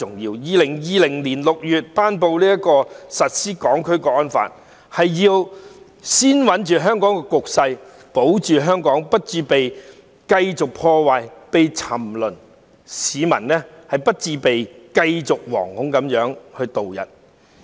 在2020年6月頒布實施《香港國安法》，是要先穩定香港局勢，保住香港不致繼續被破壞、沉淪下去，市民不致繼續惶恐度日。